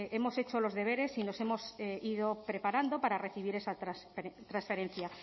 hemos hecho los deberes y nos hemos ido preparando para recibir esa transferencia